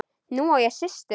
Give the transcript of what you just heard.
Nú á ég systur.